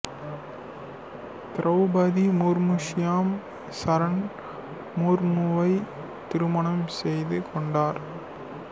திரௌபதி முர்மு ஷியாம் சரண் முர்முவை திருமணம் செய்து கொண்டார்